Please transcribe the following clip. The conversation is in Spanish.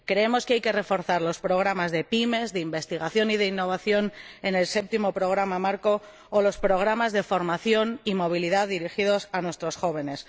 Creemos que hay que reforzar los programas de PYME, de investigación y de innovación en el Séptimo Programa Marco o los programas de formación y movilidad dirigidos a nuestros jóvenes.